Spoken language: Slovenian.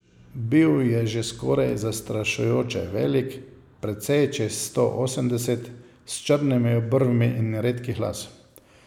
Bil je že skoraj zastrašujoče velik, precej čez sto osemdeset, s črnimi obrvmi in redkih las.